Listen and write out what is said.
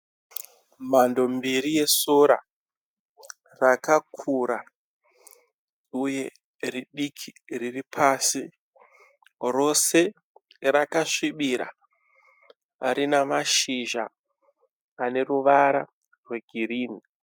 Mhando mbiri yesora, rakakura, uye ridiki riripasi. Rose rakasvibira rinamashizha aneruvara rwegirinhi.